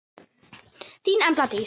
Þín Embla Dís.